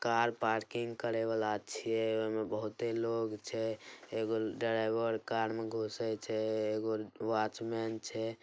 Car parking करे वाला छिए। ओय में बहुते लोग छै। एगो ड्राइवर कार मे घूसे छै। एगो वाचमेन छै ।